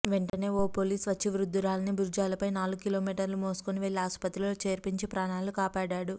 వెంటనే ఓ పోలీస్ వచ్చి వృద్ధురాలిని భూజాలపై నాలుగు కిలోమీటర్లు మోసుకొని వెళ్లి ఆస్పత్రిలో చేర్పించి ప్రాణాలు కాపాడాడు